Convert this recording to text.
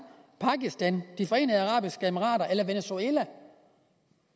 pakistan de forenede arabiske emirater eller venezuela